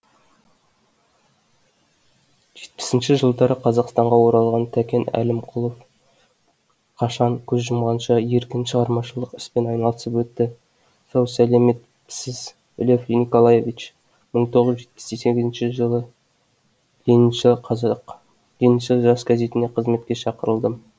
жетпісінші жылдары қазақстанға оралған тәкен әлімқұлов қашан көз жұмғанша еркін шығармашылық іспен айналысып өтті сау сәлеметсіз лев николаевич мың тоғыз жүз жетпіс сегізінші жылы лениншіл жас газетіне қызметке шақырылдым